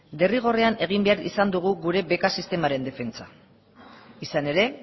derrigorrean egin behar izan dugu gure beka sistemaren defentsa izan ere